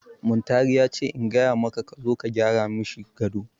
Muntari ya ce in gaya maka ka zo ka gyara mashi gado.